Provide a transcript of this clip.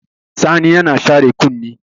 Sani yana share kunni.